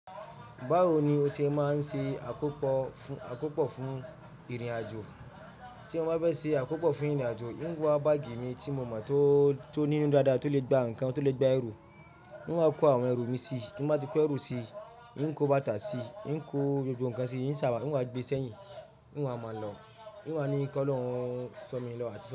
Báwo ni o ṣe máa ń ṣe àkópò fún ìrìnàjò? Tí mo bá fẹ́ ṣe àkópò fún ìrìnàjò, n ó wa báàgì mi tí mo mọ̀ tó ní nínú dáadáa, tó lè gba ǹkan, tó lè gba ẹrù. N wa kọ àwọn ẹrù mi sí i. Tí mo bá ti kó ẹrù sí i, n kó bàtà sí i, n kó gbogbo ǹkan sí i, n sá a, n wá gbé e sẹ́yìn, n wá máa lọ, n wá ní kólọ̀hun sọ̀ mí lọ́ àti.